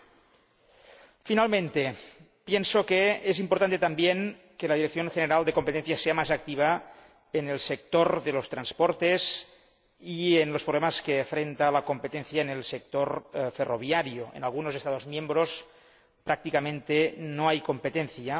Por último, pienso que es importante también que la Dirección General de Competencia sea más activa en el sector de los transportes y en los problemas a que se enfrenta la competencia en el sector ferroviario en algunos Estados miembros prácticamente no hay competencia.